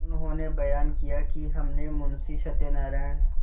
उन्होंने बयान किया कि हमने मुंशी सत्यनारायण